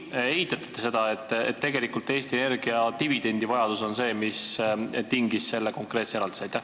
Või eitate te seda, et tegelikult on Eesti Energia dividendivajadus see, mis tingis selle konkreetse eraldise?